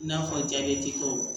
I n'a fɔ tɔw